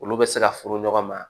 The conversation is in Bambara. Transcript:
Olu bɛ se ka furu ɲɔgɔn ma